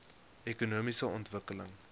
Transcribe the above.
ekonomiese ontwikkeling